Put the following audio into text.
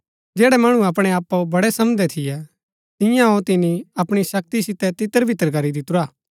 जैड़ै मणु अपणैआपाओ बड़ै समझदै थियै तियांओ तिनी अपणी शक्ति सितै तितरबितर करी दितुरा